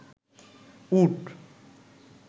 উট